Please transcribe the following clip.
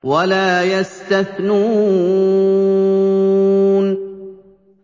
وَلَا يَسْتَثْنُونَ